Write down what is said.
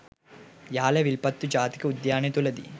යාල විල්පත්තු ජාතික උද්‍යාන තුළදී